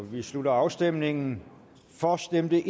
vi slutter afstemningen for stemte